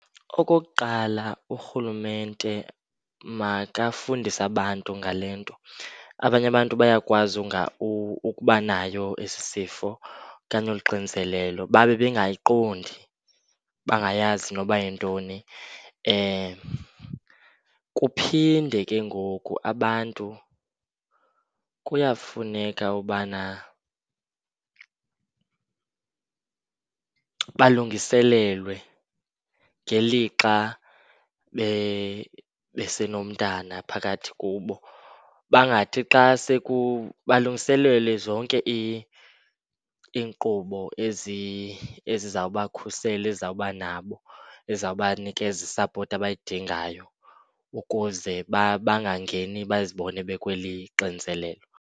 Okokuqala, urhulumente makafundise abantu ngale nto. Abanye abantu bayakwazi ukuba nayo esi sifo okanye olu xinzelelo babe bengayiqondi, bangayazi noba yintoni. Kuphinde ke ngoku abantu kuyafuneka ubana balungiselelwe ngelixa besenomntana phakathi kubo. Bangathi xa balungiselelwe zonke iinkqubo ezizawubakhusela, ezawuba nabo ezawuba nikeza isapoti abayidingayo ukuze bangangeni bazibone bekweli xinizelelo.